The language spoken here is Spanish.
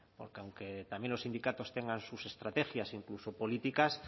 porque aunque también los sindicatos tengan sus estrategias incluso políticas